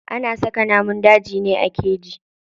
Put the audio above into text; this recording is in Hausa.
Ana saka namun dajin ne a keji.